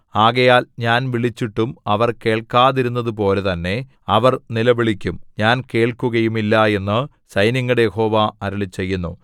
ആകയാൽ ഞാൻ വിളിച്ചിട്ടും അവർ കേൾക്കാതിരുന്നതുപോലെ തന്നെ അവർ നിലവിളിക്കും ഞാൻ കേൾക്കുകയുമില്ല എന്നു സൈന്യങ്ങളുടെ യഹോവ അരുളിച്ചെയ്യുന്നു